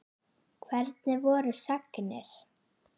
Hvernig voru sagnir?